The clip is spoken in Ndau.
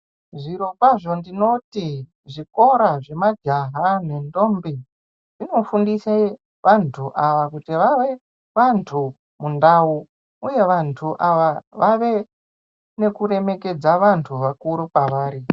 Zviro kwazvo ndinoti zvikora zvema jaha ndendombi, zvinofundise wandu awa kuti wawe wandu mundau uye wandu awa wawe nekuremekedza wandu wakuru kwawari.